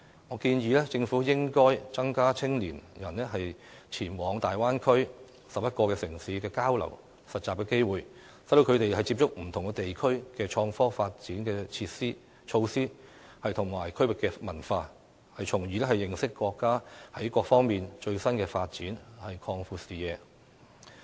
我建議政府應增加青年人前往大灣區11個城市交流及實習的機會，讓他們接觸不同地區的創科發展措施及區域文化，從而認識國家在各方面的最新發展，擴闊視野。